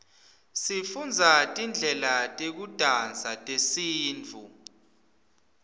sifundza tidlela tekudansa tesintfu